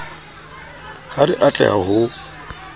ha re a tleha ho